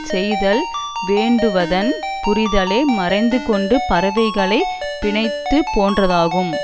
செய்தல் வேட்டுவன் புதரிலே மறைந்து கொண்டு பறவைகளை பிணித்தது போன்றதாகும்